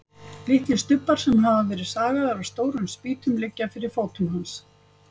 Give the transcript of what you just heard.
Litlir stubbar sem hafa verið sagaðir af stórum spýtum liggja fyrir fótum hans.